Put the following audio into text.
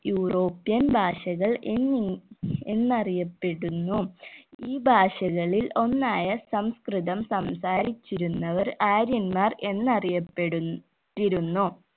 europian ഭാഷകൾ എന്നിങ്ങ എന്നറിയപ്പെടുന്നു ഈ ഭാഷകളിൽ ഒന്നായ സംസ്‌കൃതം സംസാരിച്ചിരുന്നവർ ആര്യന്മാർ എന്നറിയപ്പെടു ന്നിരുന്നു